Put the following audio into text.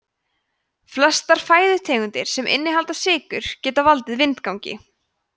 flestar fæðutegundir sem innihalda sykrur geta valdið vindgangi